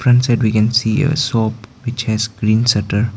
Front side we can see a shop which has green shutter.